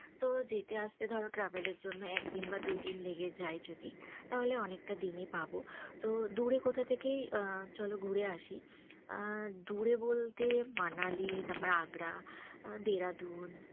তো যেতে আসতে ধরো travel এর জন্য একদিন বা দুদিন লেগে যায় যদি, তাহলে অনেকটা দিনই পাবো। তো দূরে কোথা থেকেই আ চলো ঘুরে আসি। আ দূরে বলতে মানালি, তারপর আগ্রা, দেরাদুন